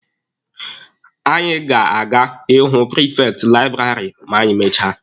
Anyị ga-aga ịhụ prifekti laịbụrarị ma anyị mechaa